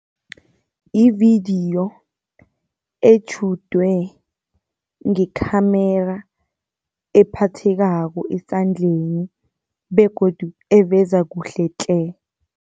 Yividiyo etjhudwe ngekhamera ephathekako esandleni begodu eveza kuhle tle!